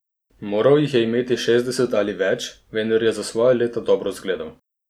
Moral jih je imeti šestdeset in več, vendar je za svoja leta dobro izgledal.